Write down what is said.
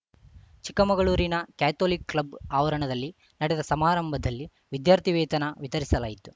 ಚಿಕ್ಕಮಗಳೂರಿನ Catholic club ಆವರಣದಲ್ಲಿ ನಡೆದ ಸಮಾರಂಭದಲ್ಲಿ ವಿದ್ಯಾರ್ಥಿ ವೇತನ ವಿತರಿಸಲಾಯಿತು